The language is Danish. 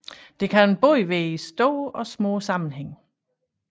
Det kan både være i store og små sammenhænge